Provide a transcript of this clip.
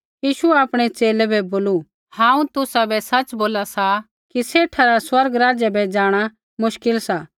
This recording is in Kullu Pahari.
यीशुऐ आपणै च़ेले बै बोलू हांऊँ तुसाबै सच़ बोला सा कि सेठा रा स्वर्ग राज्य बै जाँणा मुश्किल सा